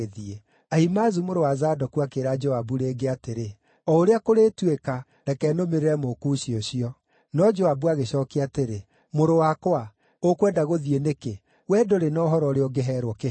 Ahimaazu mũrũ wa Zadoku akĩĩra Joabu rĩngĩ atĩrĩ, “O ũrĩa kũrĩtuĩka, reke nũmĩrĩre Mũkushi ũcio.” No Joabu agĩcookia atĩrĩ, “Mũrũ wakwa, ũkwenda gũthiĩ nĩkĩ? Wee ndũrĩ na ũhoro ũrĩa ũngĩheerwo kĩheo.”